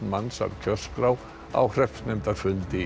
manns af kjörskrá á hreppsnefndarfundi